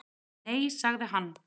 """Nei, sagði hann."""